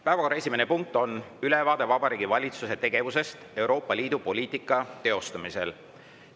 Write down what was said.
Päevakorra esimene punkt on ülevaade Vabariigi Valitsuse tegevusest Euroopa Liidu poliitika teostamisel.